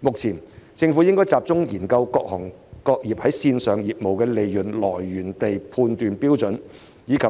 目前，政府應集中研究各行各業線上業務的利潤來源地判斷標準，並及